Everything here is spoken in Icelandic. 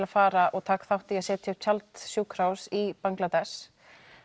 að fara og taka þátt í því að setja upp tjald sjúkrahús í Bangladesh